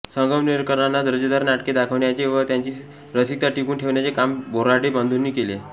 संगमनेरकरांना दर्जेदार नाटके दाखवण्याचे व त्यांची रसिकता टिकवून ठेवण्याचे काम बोऱ्हाडे बंधूंनी केले